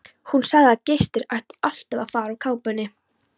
Hún sagði að gestir ættu alltaf að fara úr kápunni.